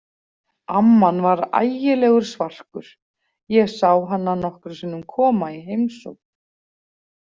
Amman var ægilegur svarkur, ég sá hana nokkrum sinnum koma í heimsókn.